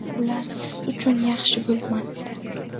ular siz uchun yaxshi bo‘lmasdi.